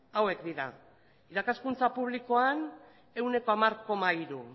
hauek dira irakaskuntza publikoan ehuneko hamar koma hiru